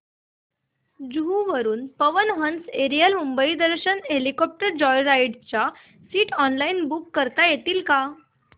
जुहू वरून Pawan Hans aerial Mumbai Darshan helicopter joyride च्या seats online book करता येतील का